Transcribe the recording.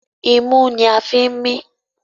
Imú ní a fín mí.